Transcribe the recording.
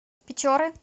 печоры